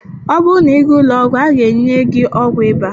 Ọ bụrụ na ịga ụlọ ọgwụ, a ga-enye gị ọgwụ ịba.